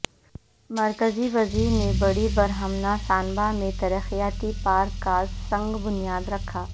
مرکزی وزیر نے بڑی برہمنا سانبہ میں ترقیاتی پارک کا سنگ بنیاد رکھا